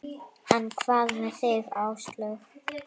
En hvað með þig Áslaug?